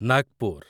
Nagpur